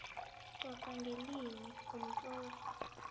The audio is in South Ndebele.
coca ngelimi umtloli